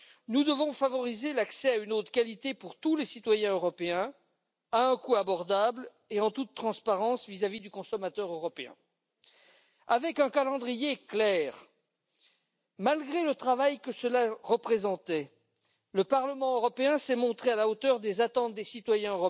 Nous devons favoriser l'accès à une eau de qualité pour tous les citoyens européens à un coût abordable et en toute transparence vis à vis du consommateur. Avec un calendrier clair, malgré le travail que cela représentait, le Parlement s'est montré à la hauteur des attentes des citoyens,